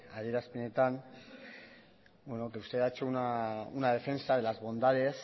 adierazpenetan que usted ha hecho una defensa de las bondades